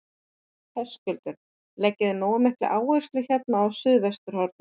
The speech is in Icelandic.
Höskuldur: Leggið þið nógu mikla áherslu hérna á suðvesturhornið?